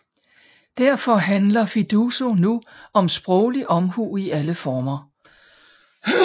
Derfor handler Fiduso nu om sproglig omhu i alle former